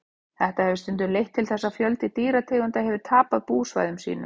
þetta hefur stundum leitt til þess að fjöldi dýrategunda hefur tapað búsvæðum sínum